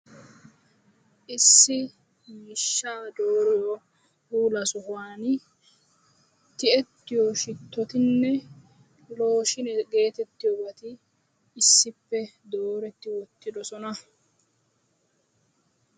Issi miishsha dooriyo puula sohuwani tiyyetiyo shitotinne looshinee getettiyoobati issippe dooretti wottidoosona.